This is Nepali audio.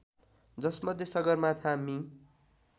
जसमध्ये सगरमाथा मि